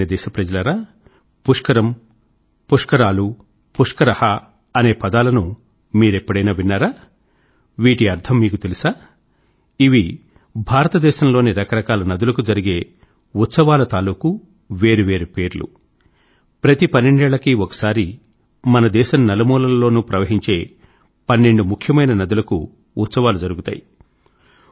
నా ప్రియమైన దేశ ప్రజలారా पुष्करम पुष्करालू पुष्करः అనే పదాలను మీరెప్పుడైనా విన్నారా వీటి అర్థం మీకు తెలుసా ఇవి భారతదేశం లోని రకరకాల నదులకు జరిగే ఉత్సవాల తాలూకూ వేరు వేరు పేర్లు ప్రతి పన్నెండేళ్ళకి ఒకసారి మన దేశం నలుమూలల్లోనూ ప్రవహించే పన్నెండు ముఖ్యమైన నదులకు ఉత్సవాలు జరుగుతాయి